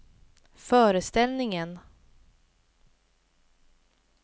föreställningen